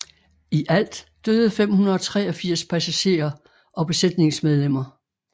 I alt døde 583 passagerer og besætningsmedlemmer